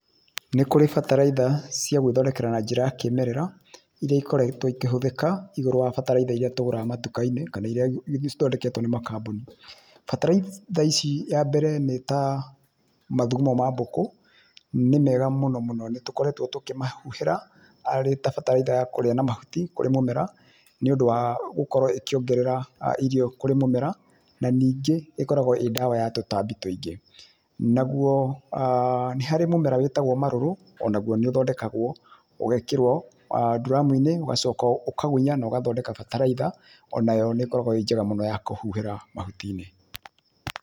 Nĩ kũrĩ bataraitha cia gwĩthondekera na njĩra ya kĩmerera iria ikoretwo ikĩhũthĩka igũrũ wa bataraitha iria tũgũraga matukainĩ kana irĩa cithondeketwo nĩ makambuni. Bataraitha ici ya mbere nĩ ta; mathugumo ma mbũkũ, nĩ mega mũno mũno, nĩ tũkoretwo tũkĩmahuhĩra arĩ ta bataraitha ya kũrĩa na mahuti kũrĩ mũmera, nĩundũ wa gũkorwo ĩkĩongerera irio kũrĩ mũmera na ningĩ ĩkoragwo ĩĩ ndawa ya tũtambi tũingĩ. Naguo nĩ harĩ mũmera wĩtagwo marũrũ onaguo nĩ ũthondekagwo ũgekĩrwo nduramuinĩ ũgacoka ũkagunya na ũgathondeka bataraitha, onayo nĩ ĩkoragwo ĩĩ njega mũno ya kũhuhĩra mahutiinĩ.